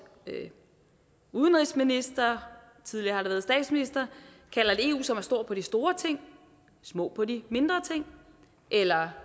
udenrigsminister tidligere har det været statsministeren kalder et eu som er stor på de store ting og små på de mindre ting eller